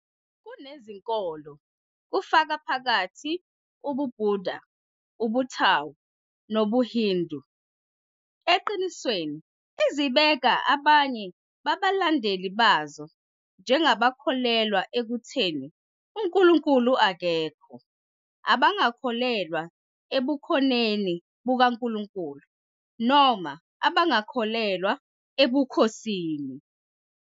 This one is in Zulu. Kunezinkolo, kufaka phakathi ubuBuddha, ubuTao, nobuHindu, eqinisweni, ezibeka abanye babalandeli bazo njengabakholelwa ekutheni uNkulunkulu akekho, abangakholelwa ebukhoneni bukaNkulunkulu noma abangakholelwa ebukhosini.